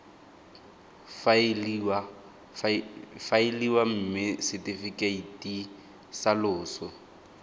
faeliwa mme setefikeiti sa loso